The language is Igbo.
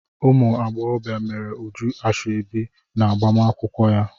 Ụmụ agbọghọbịa meere Uju ashọbi n'agbamakwụkwọ ya.